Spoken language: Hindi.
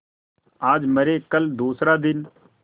आज मरे कल दूसरा दिन